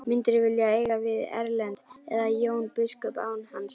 Myndirðu vilja eiga við Erlend eða Jón biskup án hans?